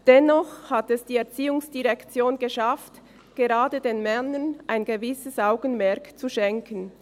Dennoch hat es die ERZ geschafft, gerade den Männern ein gewisses Augenmerk zu schenken.